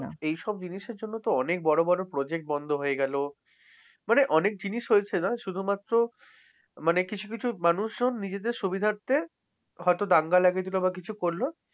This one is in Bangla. এই সব জিনিসের জন্যতো অনেক বড় বড় project বন্ধ হয়ে গেল। মানে অনেক জিনিস হয়েছে না শুধুমাত্র মানে কিছু কিছু মানুষজন নিজেদের সুবিধার্থে হয়তো দাঙ্গা লাগায়ে দিল বা কিছু করল।